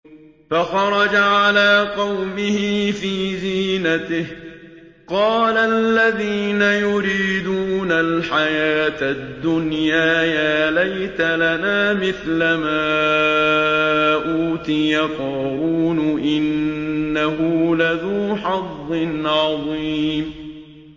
فَخَرَجَ عَلَىٰ قَوْمِهِ فِي زِينَتِهِ ۖ قَالَ الَّذِينَ يُرِيدُونَ الْحَيَاةَ الدُّنْيَا يَا لَيْتَ لَنَا مِثْلَ مَا أُوتِيَ قَارُونُ إِنَّهُ لَذُو حَظٍّ عَظِيمٍ